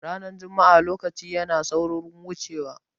Ranar juma'a lokaci yana saurin wuce wa